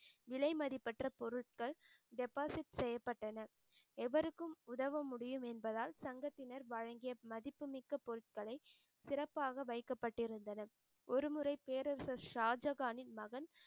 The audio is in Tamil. விலைமதிப்பற்ற பொருட்கள் deposit செய்யப்பட்டன. எவருக்கும் உதவ முடியும் என்பதால் சங்கத்தினர் வழங்கிய மதிப்பு மிக்க பொருட்களை சிறப்பாக வைக்கப்பட்டிருந்தனர. ஒருமுறை பேரரசர் ஷாஜகானின் மகள்